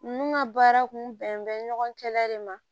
Ninnu ka baara kun bɛn bɛ ɲɔgɔn kɛlɛ de ma